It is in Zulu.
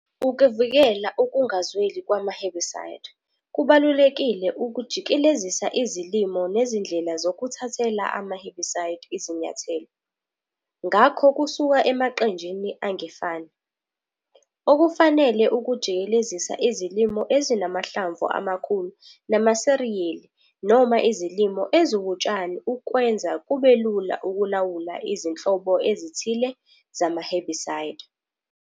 Ukuvikela ukungazweli kwama-herbicide, kubalulekile ukujikelezisa izilimo nezindlela zokuthathela ama-herbicide izinyathelo., ngakho kusuka emaqenjini angefani. Okufanele ukujikelezisa izilimo ezinamahlamvu amakhulu namasiriyeli noma izilimo eziwutshani ukwenza kubelula ukulawula izinhlobo ezithile zama-herbicide.